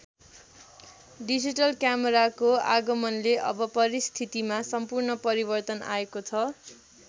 Digital क्यामेराको आगमनले अब परिस्थितिमा सम्पूर्ण परिवर्तन आएको छ।